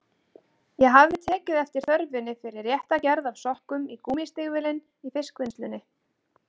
Ég hafði tekið eftir þörfinni fyrir rétta gerð af sokkum í gúmmístígvélin í fiskvinnslunni.